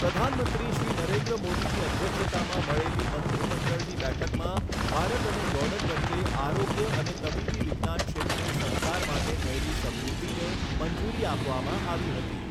પ્રધાનમંત્રી શ્રી નરેન્દ્ર મોદીની અધ્યક્ષતામાં મળેલી મંત્રીમંડળની બેઠકમાં ભારત અને જોર્ડન વચ્ચે આરોગ્ય અને તબીબી વિજ્ઞાન ક્ષેત્રે સહકાર માટે થયેલી સમજૂતીને મંજૂરી આપવામાં આવી હતી.